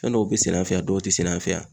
Fɛn dɔw bɛ sɛnɛ an fɛ yan, dɔw tɛ sɛnɛ an fɛ yan.